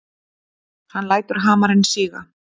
Hann lætur hamarinn síga.